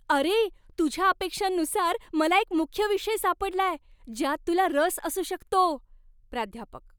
अरे, तुझ्या अपेक्षांनुसार मला एक मुख्य विषय सापडलाय. ज्यात तुला रस असू शकतो. प्राध्यापक